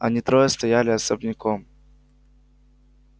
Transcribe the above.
они трое стояли особняком